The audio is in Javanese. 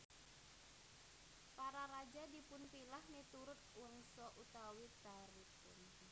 Para raja dipunpilah miturut wangsa utawi trahipun